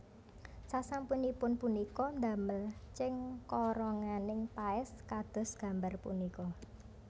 Sasampunipun punika ndamel cengkoronganing paès kados gambar punika